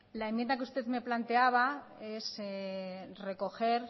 la enmienda que usted me planteaba es recoger